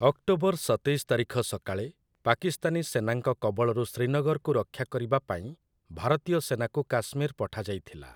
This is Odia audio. ଅକ୍ଟୋବର ସତେଇଶ ତାରିଖ ସକାଳେ, ପାକିସ୍ତାନୀ ସେନାଙ୍କ କବଳରୁ ଶ୍ରୀନଗରକୁ ରକ୍ଷା କରିବା ପାଇଁ, ଭାରତୀୟ ସେନାକୁ କାଶ୍ମୀର ପଠାଯାଇଥିଲା ।